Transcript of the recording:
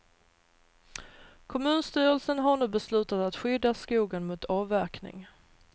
Kommunstyrelsen har nu beslutat att skydda skogen mot avverkning.